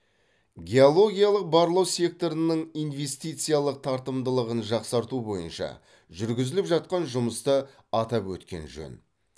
геологиялық барлау секторының инвестициялық тартымдылығын жақсарту бойынша жүргізіліп жатқан жұмысты атап өткен жөн